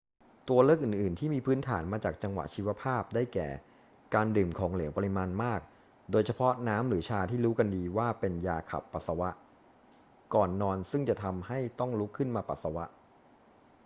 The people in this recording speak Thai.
ตัวเลือกอื่น ๆ ที่มีพื้นฐานมาจากจังหวะชีวภาพ ได้แก่ การดื่มของเหลวปริมาณมาก โดยเฉพาะน้ำหรือชาที่รู้กันดีว่าเป็นยาขับปัสสาวะ ก่อนนอน ซึ่งจะทำให้ต้องลุกขึ้นมาปัสสาวะ